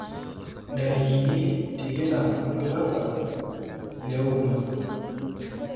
Ntarikini tikitam olapa leoudo.